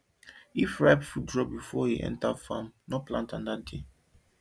if ripe fruit drop before you enter farm no plant that day o